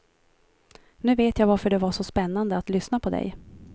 Nu vet jag varför det var så spännande att lyssna på dig.